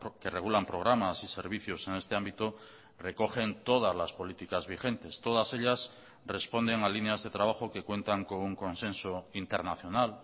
que regulan programas y servicios en este ámbito recogen todas las políticas vigentes todas ellas responden a líneas de trabajo que cuentan con un consenso internacional